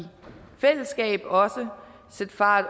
fællesskab også sætte fart